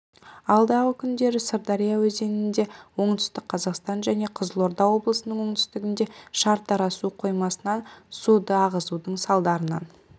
алдағы күндері сырдария өзенінде оңтүстік қазақстан және қызылорда облысының оңтүстігінде шардара су қоймасынан суды ағызудың салдарынан